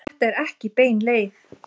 Þetta er ekki bein leið.